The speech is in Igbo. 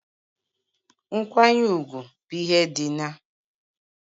Nkwanye ugwu bụ ihe dị n'